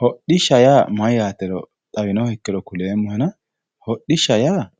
hodhishshaho yaa mayyaatero xawinohekkiro kuleemmohena hodhishsha yaa